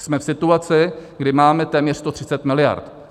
Jsme v situaci, kdy máme téměř 130 miliard.